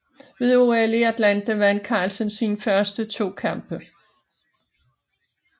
Ved OL i Atlanta vandt Carlsen sine første to kampe